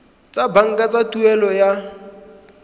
tsa banka tsa tuelo ya